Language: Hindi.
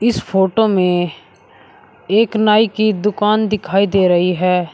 इस फोटो में एक नाई की दुकान दिखाई दे रही है।